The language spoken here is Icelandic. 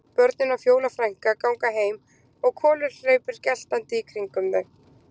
Börnin og Fjóla frænka ganga heim og Kolur hleypur geltandi í kringum þau.